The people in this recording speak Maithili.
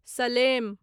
सलेम